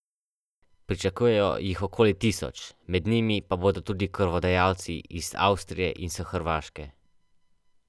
Tisto vojno so dobile ladje, ne pa kozje steze.